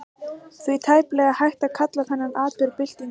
Því er tæplega hægt að kalla þennan atburð byltingu.